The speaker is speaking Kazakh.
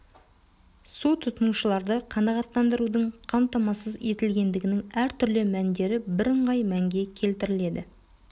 су тұтынушыларды қанағаттандырудың қамтамасыз етілгендігінің әртүрлі мәндері бірыңғай мәнге келтіріледі